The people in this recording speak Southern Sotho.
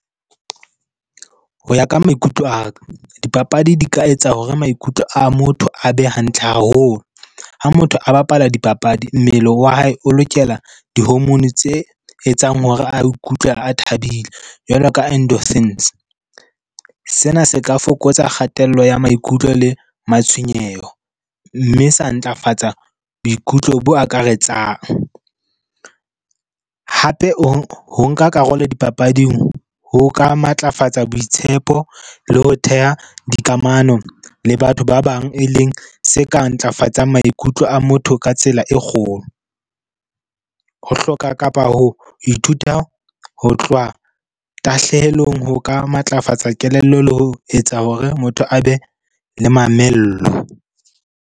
Ho ya ka maikutlo a ka, dipapadi di ka etsa hore maikutlo a motho a be hantle haholo. Ha motho a bapala dipapadi, mmele wa hae o lokela di-hormone tse etsang hore a ikutlwe a thabile. Jwalo ka . Sena se ka fokotsa kgatello ya maikutlo le matshwenyeho. Mme sa ntlafatsa boikutlo bo akaretsang. Hape o ho nka karolo dipapading ho ka matlafatsa boitshepo le ho theha dikamano le batho ba bang, e leng se ka ntlafatsang maikutlo a motho ka tsela e kgolo. Ho hloka kapa ho ithuta ho tloha tahlehelong ho ka matlafatsa kelello le ho etsa hore motho a be le mamello.